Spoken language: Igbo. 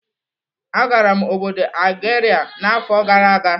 Agara m obodo Algeria n'afọ gara aga.